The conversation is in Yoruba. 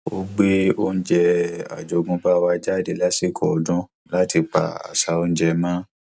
ó gbé oúnjẹ àjogúnbá wa jáde lásìkò ọdún láti pa àṣà oúnjẹ mọ